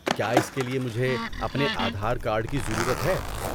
کیا اس کے لیے مجھے اپنے آدھار کارڈ کی ضرورت ہے؟